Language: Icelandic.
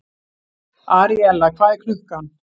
Aríella, hvað er klukkan?